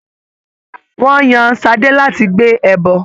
Ṣadé was chosen to carry the sacrifice.